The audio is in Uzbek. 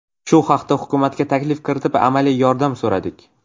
Shu haqda hukumatga taklif kiritilib, amaliy yordam so‘radik.